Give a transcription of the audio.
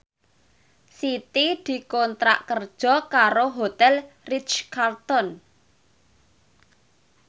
Siti dikontrak kerja karo Hotel Ritz Carlton